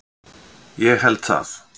Ég held það.